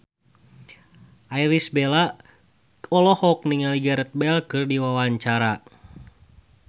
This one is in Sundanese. Irish Bella olohok ningali Gareth Bale keur diwawancara